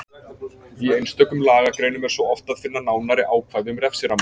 Í einstökum lagagreinum er svo oft að finna nánari ákvæði um refsiramma.